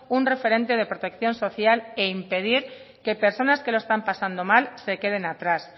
un referente de protección social e impedir que personas que lo están pasando mal se queden atrás